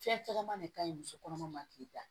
Fɛn cɛman de ka ɲi musokɔnɔma ma k'i da